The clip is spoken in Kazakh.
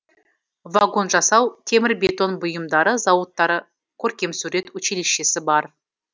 вагон жасау темір бетон бұйымдары зауыдтары көркемсурет училищесі бар